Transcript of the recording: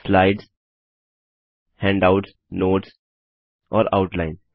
slides handouts notes और outline